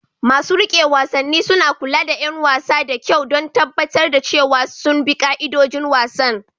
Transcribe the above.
Masu riƙe wasanni suna kula da 'yan wasan da kyau don tabbatar da cewa sun bi ka'idojin wasan.